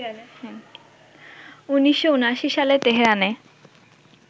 ১৯৭৯ সালে তেহরানে